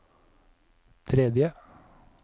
tredje